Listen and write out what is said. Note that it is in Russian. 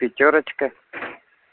пятёрочка